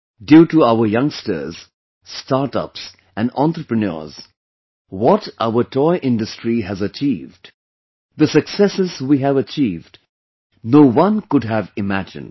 Due to our Youngsters, Startups and Entrepreneurs, what our toy industry has achieved, the successes we have achieved, no one could have imagined